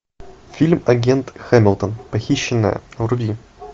фильм агент хамилтон похищенная вруби